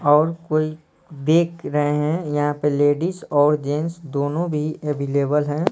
और कोई देख रहे हैं यहाँ पे लेडीज और जेंस दोनों भी अवीलेबल है।